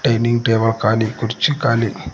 dining table ಖಾಲಿ ಕುರ್ಚಿ ಖಾಲಿ--